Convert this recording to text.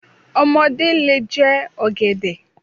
Ọmọdé lè jẹ ọ̀gẹ̀dẹ̀.